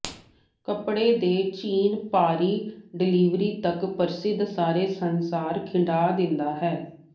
ਕੱਪੜੇ ਦੇ ਚੀਨ ਭਾਰੀ ਡਲਿਵਰੀ ਤੱਕ ਪ੍ਰਸਿੱਧ ਸਾਰੇ ਸੰਸਾਰ ਖਿੰਡਾ ਦਿੰਦਾ ਹੈ